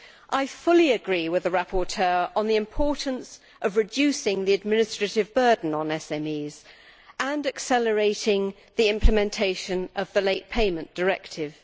I fully agree with the rapporteur on the importance of reducing the administrative burden on SMEs and accelerating the implementation of the Late Payment Directive.